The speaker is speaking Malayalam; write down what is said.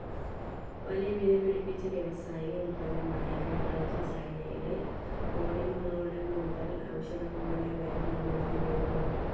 വലിയ വിലപിടിച്ച വ്യാവസായിക ഉൽപ്പന്നമായ ഹൈഡ്രോജൻ സയനൈഡ്‌ പോളിമറുകളുടെ മുതൽ ഔഷധങ്ങളുടെ വരെ നിർമ്മാണത്തിന് ഉപയോഗിക്കുന്നു.